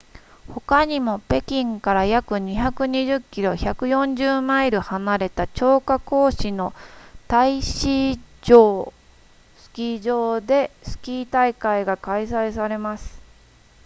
他にも北京から約220キロ140マイル離れた張家口市の太子城スキー場でスキー大会が開催されます